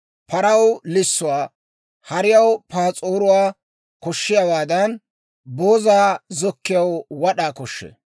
Paraw lissuwaa, hariyaw paas'oruwaa koshshiyaawaadan, boozaa zokkiyaw wad'aa koshshee.